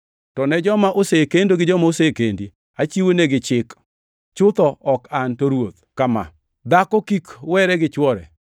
To ne joma osekendo gi joma osekendi achiwonegi chik (chutho ok an, to Ruoth) kama: Dhako kik were gi chwore.